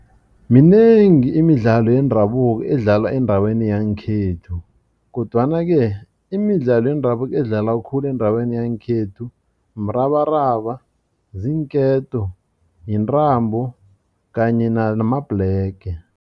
Minengi imidlalo yendabuko edlalwa endaweni yangekhethu kodwana ke imidlalo yendabuko edlalwa khulu endaweni yangekhethu mrabaraba, ziinketo, yintambo kanye namabhlege.